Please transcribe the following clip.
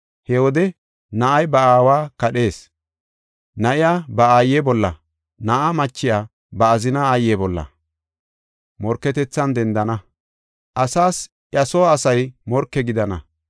He wode na7ay ba aawa kadhees; na7iya ba aaye bolla, na7aa machiya ba azinaa aaye bolla morketethan dendana. Asas iya soo asay morke gidana.